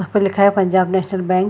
उस पर लिखा है पंजाब नेशनल बैंक --